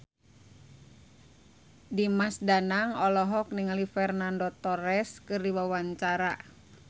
Dimas Danang olohok ningali Fernando Torres keur diwawancara